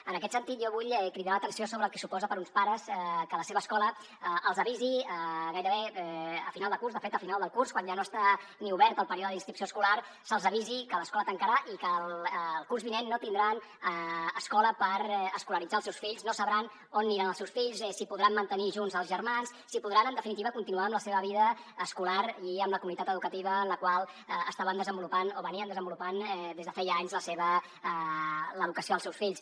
en aquest sentit jo vull cridar l’atenció sobre el que suposa per a uns pares que la seva escola els avisi gairebé a final de curs de fet al final del curs quan ja no està ni obert el període d’inscripció escolar que l’escola tancarà i que el curs vinent no tindran escola per escolaritzar els seus fills no sabran on aniran els seus fills si podran mantenir junts els germans si podran en definitiva continuar amb la seva vida escolar i amb la comunitat educativa en la qual estaven desenvolupant o desenvolupaven des de feia anys l’educació dels seus fills